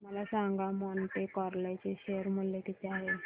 मला सांगा Monte Carlo चे शेअर मूल्य किती आहे